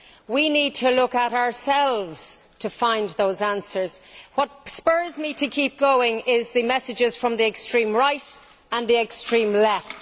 We need to look at ourselves to find those answers. What spurs me to keep going is the messages from the extreme right and the extreme left.